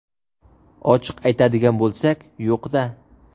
Ochiq aytadigan bo‘lsak, yo‘q-da.